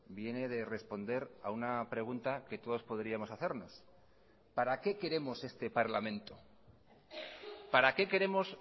viene de responder a una pregunta que todos podríamos hacernos para qué queremos este parlamento para qué queremos